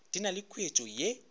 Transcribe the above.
di na le khuetšo ye